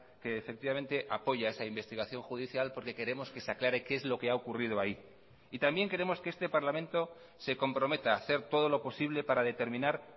que efectivamente apoya esa investigación judicial porque queremos que se aclare qué es lo que ha ocurrido ahí y también queremos que este parlamento se comprometa a hacer todo lo posible para determinar